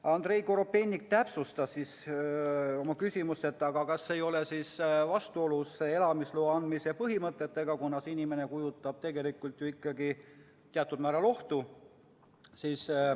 Andrei Korobeinik täpsustas siis oma küsimust, et kas see ei ole vastuolus elamisloa andmise põhimõtetega, kuna see inimene kujutab tegelikult ju ikkagi teatud määral ohtu.